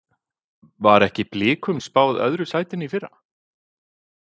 Var ekki Blikum spáð öðru sætinu í fyrra?